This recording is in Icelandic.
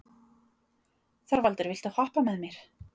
Þorvaldur, viltu hoppa með mér?